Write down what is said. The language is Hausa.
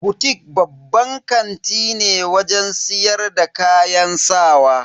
Butik babban kanti ne wajen siyar da kayan sawa.